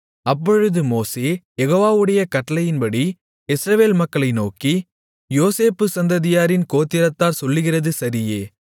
அப்பொழுது மோசே யெகோவாவுடைய கட்டளையின்படி இஸ்ரவேல் மக்களை நோக்கி யோசேப்பு சந்ததியாரின் கோத்திரத்தார் சொல்லுகிறது சரியே